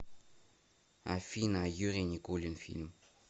афина юрий никулин фильм